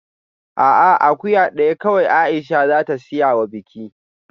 A'a, akuya daya kawai Aisha za ta siya wa biki